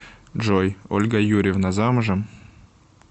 джой ольга юрьевна замужем